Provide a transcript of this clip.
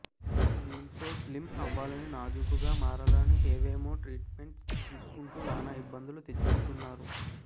దీంతో స్లిమ్ అవ్వాలని నాజూకుగా మారాలని ఏవేమో ట్రీట్ మెంట్స్ తీసుకుంటూ నానా ఇబ్బందులు తెచ్చుకుంటున్నారు